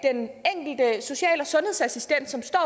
at social og sundhedsassistent som står